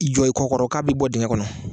I jɔ i kɔ kɔrɔ k'a b'i bɔ digɛn kɔnɔ